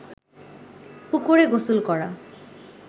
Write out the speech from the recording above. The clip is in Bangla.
পুকুরে গোসল করা